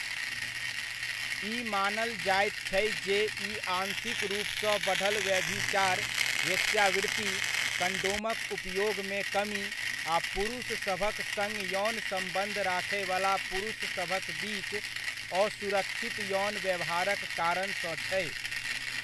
ई मानल जाइत छै जे ई आंशिक रूपसँ बढ़ल व्यभिचार, वेश्यावृत्ति, कंडोमक उपयोगमे कमी, आ पुरुषसभक सङ्ग यौन सम्बन्ध राखयवला पुरुषसभक बीच असुरक्षित यौन व्यवहारक कारण सँ छै।